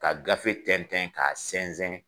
Ka gafe tɛntɛn ka sɛnsɛn